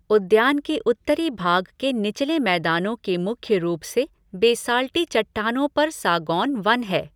उद्यान के उत्तरी भाग के निचले मैदानों में मुख्य रूप से बेसाल्टी चट्टानों पर सागौन वन है।